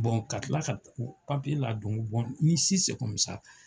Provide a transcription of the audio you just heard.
ka kila ka papiye ladon ni